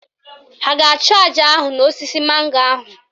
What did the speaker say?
Ha a ga-achụ àjà ahụ n'osisi mango ahụ?